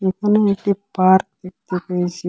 এখানে একটি পার্ক দেখতে পেয়েসি।